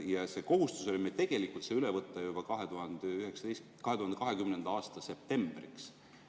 Ja kohustus see üle võtta oli meil tegelikult juba 2020. aasta septembriks.